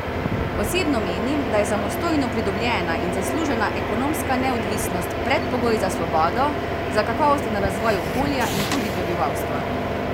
Osebno menim, da je samostojno pridobljena in zaslužena ekonomska neodvisnost predpogoj za svobodo, za kakovosten razvoj okolja in tudi prebivalstva.